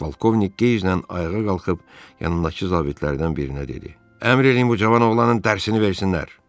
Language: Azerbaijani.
Polkovnik qeyzlə ayağa qalxıb yanındakı zabitlərdən birinə dedi: "Əmr eləyin bu cavan oğlanın dərsini versinlər."